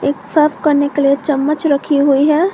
साफ करने के लिए चम्मच रखी हुई हैं।